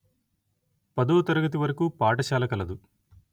పదో తరగతి వరకు పాఠశాల కలదు